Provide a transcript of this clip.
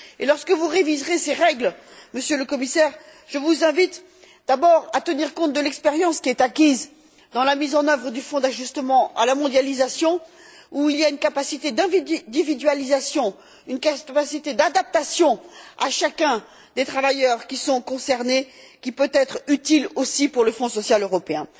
Et lorsque vous réviserez ces règles, Monsieur le Commissaire, je vous invite d'abord à tenir compte de l'expérience qui est acquise dans la mise en œuvre du fonds d'ajustement à la mondialisation où il y a une capacité d'individualisation, une capacité d'adaptation à chacun des travailleurs qui sont concernés, qui peut être utile aussi pour le Fonds social européen.